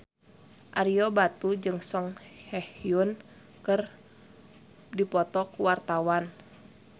Ario Batu jeung Song Hye Kyo keur dipoto ku wartawan